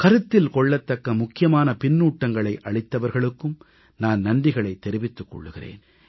கருத்தில் கொள்ளத்தக்க முக்கியமான பின்னூட்டங்களை அளித்தவர்களுக்கும் நான் நன்றிகளைத் தெரிவித்துக் கொள்கிறேன்